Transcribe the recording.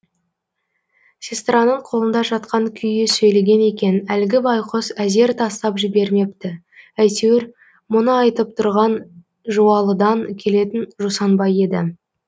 сестраның қолында жатқан күйі сөйлеген екен әлгі байқұс әзер тастап жібермепті әйтеуір мұны айтып тұрған жуалыдан келетін жусанбай еді